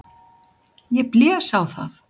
Ég blés á það.